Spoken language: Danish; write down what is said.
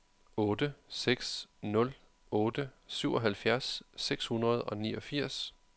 otte seks nul otte syvoghalvfjerds seks hundrede og niogfirs